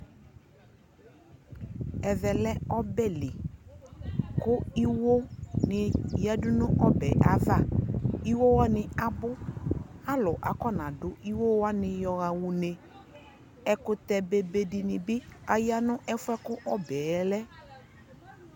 ɛvɛ lɛ ɔbɛ li ,kʋ iwɔ ni yadʋ nʋ manʋ ɔbɛ aɣa, iwɔ wani abʋ, alʋ akɔna dʋ iwɔ wani yɔha ʋnɛ, ɛkʋtɛ bɛbɛ dinibi ayanʋ ɛƒʋɛ kʋ ɔbɛ lɛ